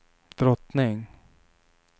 drottning